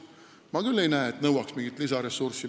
Ma küll ei näe, et see nõuaks mingit lisaressurssi.